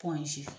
Pɔ in si